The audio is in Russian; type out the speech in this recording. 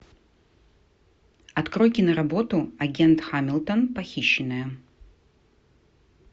открой киноработу агент хамилтон похищенная